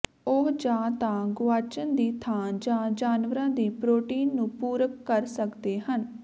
ਉਹ ਜਾਂ ਤਾਂ ਗੁਆਚਣ ਦੀ ਥਾਂ ਜਾਂ ਜਾਨਵਰਾਂ ਦੀ ਪ੍ਰੋਟੀਨ ਨੂੰ ਪੂਰਕ ਕਰ ਸਕਦੇ ਹਨ